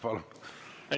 Palun!